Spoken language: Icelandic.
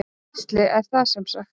Gísli: Er það semsagt.